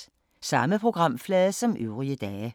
Samme programflade som øvrige dage